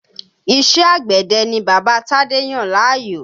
Iṣẹ́ àgbẹ̀dẹ ni bàbá Tádé yàn láàyò